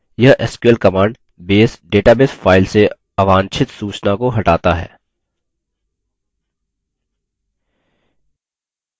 यह sql command base database file से अवांछित सूचना को हटाता है